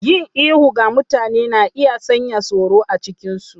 Yin ihu ga mutane na iya sanya tsoro a cikinsu.